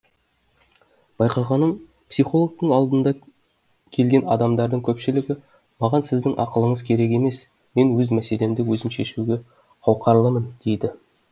байқағаным психологтың алдына келген адамдардың көпшілігі маған сіздің ақылыңыз керек емес мен өз мәселемді өзім шешуге қауқарлымын дейді